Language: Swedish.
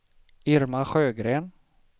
Irma Sjögren